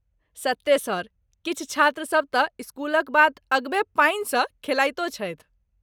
सत्ते सर, किछु छात्र सभ तँ स्कूलक बाद अगबे पानिसँ खेलाइतो छथि।